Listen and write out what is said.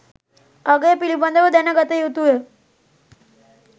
අගය පිළිබඳව දැන ගතයුතුය.